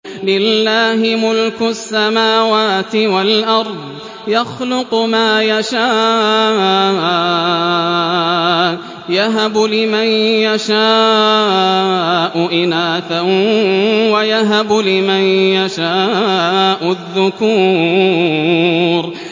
لِّلَّهِ مُلْكُ السَّمَاوَاتِ وَالْأَرْضِ ۚ يَخْلُقُ مَا يَشَاءُ ۚ يَهَبُ لِمَن يَشَاءُ إِنَاثًا وَيَهَبُ لِمَن يَشَاءُ الذُّكُورَ